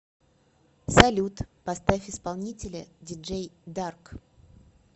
салют поставь исполнителя диджей дарк